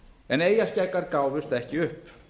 en eyjarskeggjar gáfust ekki upp